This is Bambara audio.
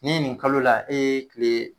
Ni nin kalo la e ye kile